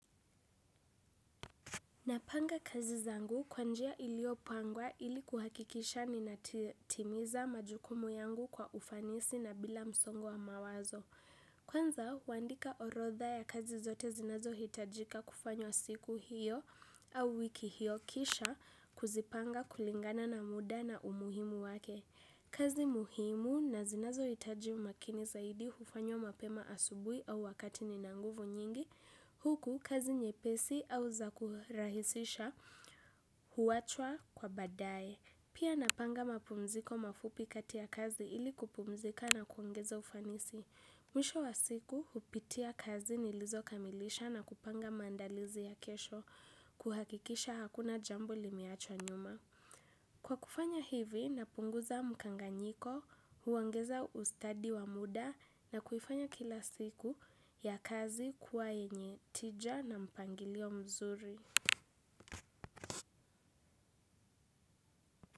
Napanga kazi zangu kwa njia iliyopangwa ili kuhakikisha ninatimiza majukumu kwa ufanisi na bila msongo wa mawazo kwanza, huandika orodha ya kazi zote zinazohitajika kufanywa siku hiyo au wiki hiyo kisha kuzipanga kulingana na muda na umuhimu wake. Kazi muhimu na zinazohitaji umakini zaidi hufanywa mapema asubuhi au wakati nina nguvu nyingi huku, kazi nyepesi au za kurahisisha huachwa kwa baadaye. Pia napanga mapumziko mafupi kati ya kazi hili kupumzika na kuongeza ufanisi. Mwisho wa siku, hupitia kazi nilizokamilisha na kupanga maandalizi ya kesho kuhakikisha hakuna jambo limeachwa nyuma. Kwa kufanya hivi, napunguza mkanganyiko, huongeza ustadi wa muda na kuifanya kila siku ya kazi kuwa yenye tija na mpangilio mzuri.